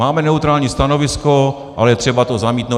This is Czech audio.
Máme neutrální stanovisko, ale je třeba to zamítnout.